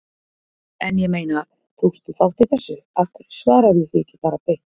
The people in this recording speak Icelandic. En ég meina, tókst þú þátt í þessu, af hverju svararðu því ekki bara beint?